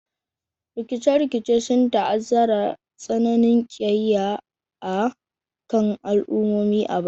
Rikice-rikice sun ta'azzara tsananin kiyayya a kan al'ummomi a baya.